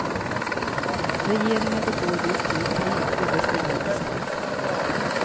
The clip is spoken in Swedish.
Regeringen begår just nu tre ödesdigra misstag.